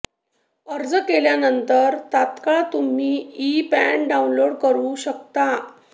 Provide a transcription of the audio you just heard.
अर्ज केल्यानंतर तात्काळ तुम्ही ई पॅन डाऊनलोड करु शकता